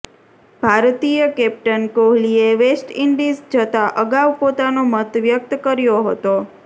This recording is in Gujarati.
ભારતીય કેપ્ટન કોહલીએ વેસ્ટ ઇન્ડિઝ જતા અગાઉ પોતાનો મત વ્યક્ત કર્યો હતો